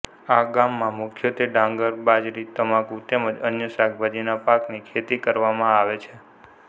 આ ગામમાં મુખ્યત્વે ડાંગર બાજરી તમાકુ તેમ જ અન્ય શાકભાજીના પાકની ખેતી કરવામાં આવે છે